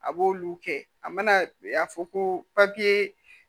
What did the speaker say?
A b'olu kɛ a mana fɔ ko